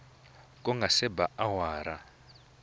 ku nga se ba awara